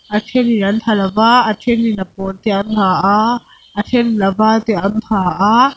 a thenin an ha lova a then in a pawl te an ha a a then in a var te an ha a--